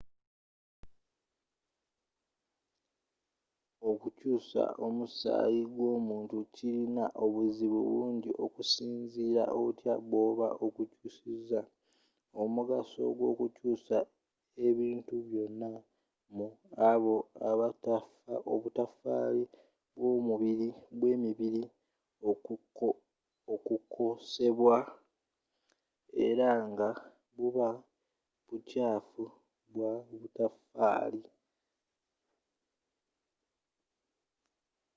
okukyusa omusayi gw’omuntu kilina obuzibu bungi okusinzira otya bw’oba ogukyusiza, omugaso gw’okukyusa ebintu byonna mu oba obutafali bwe mibiri okukosebwa era nga buba bukyafu bya butafali